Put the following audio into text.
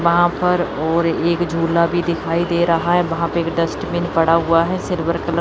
वहां पर और एक झूला भी दिखाई दे रहा है वहां पे डस्टबिन पड़ा हुआ है सिल्वर कलर --